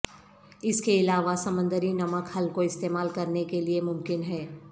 اس کے علاوہ سمندری نمک حل کو استعمال کرنے کے لئے ممکن ہے